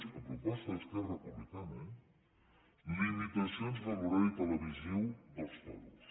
a proposta d’esquerra republicana eh limitacions de l’horari televisiu dels toros